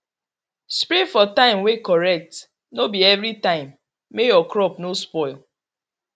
spray for time way correct no be everytime make your crop no spoil